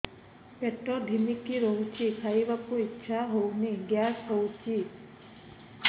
ପେଟ ଢିମିକି ରହୁଛି ଖାଇବାକୁ ଇଛା ହଉନି ଗ୍ୟାସ ହଉଚି